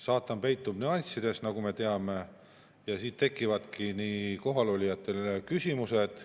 Saatan peitub nüanssides, nagu me teame, ja siit tekivadki kohalolijatel küsimused.